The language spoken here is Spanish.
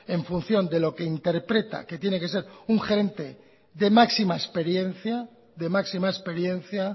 en función de lo que interpreta de lo que tiene que ser un gerente de máxima experiencia